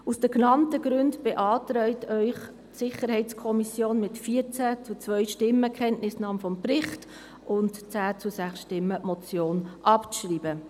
Aus den genannten Gründen beantragt Ihnen die SiK mit 14 zu 2 Stimmen die Kenntnisnahme des Berichts und mit 10 zu 6 Stimmen die Motion abzuschreiben.